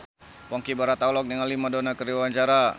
Ponky Brata olohok ningali Madonna keur diwawancara